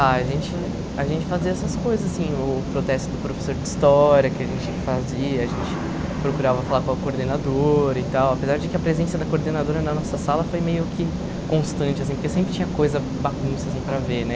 Ah, a gente a gente fazia essas coisas, assim, o protesto do professor de história que a gente fazia, a gente procurava falar com a coordenadora e tal, apesar de que a presença da coordenadora na nossa sala foi meio que constante, assim, porque sempre tinha coisa bagunça, assim, para ver, né?